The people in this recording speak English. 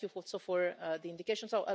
Thank you also for the indications.